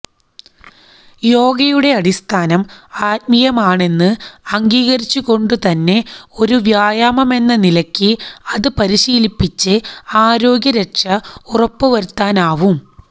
യോഗയുടെ അടിസ്ഥാനം ആത്മീയമാണെന്ന് അംഗീകരിച്ചുകൊണ്ടുതന്നെ ഒരു വ്യായാമമെന്ന നിലയ്ക്ക് അത് പരിശീലിച്ച് ആരോഗ്യരക്ഷ ഉറപ്പുവരുത്താനാവും